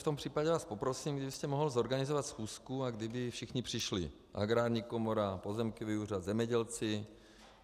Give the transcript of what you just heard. V tom případě vás poprosím, kdybyste mohl zorganizovat schůzku a kdyby všichni přišli: Agrární komora, pozemkový úřad, zemědělci.